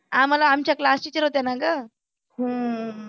आम्हाला आमच्या class teacher होत्या ना ग हम्म